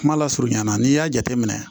Kuma lasurunya na n'i y'a jateminɛ